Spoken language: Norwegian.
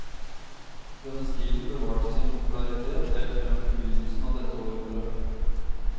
Denne stilen bevarte sin popularitet helt frem til begynnelse av dette århundret.